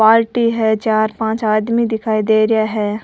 बाल्टी है चार पांच आदमी दिखाई दे रा है।